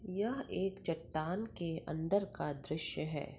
एक चट्टान के अंदर का दृश्य है।